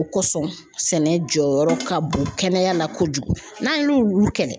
O kosɔn sɛnɛ jɔyɔrɔ ka bon kɛnɛya la kojugu, n'an y'olu kɛlɛ